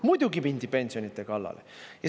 Muidugi mindi pensionide kallale.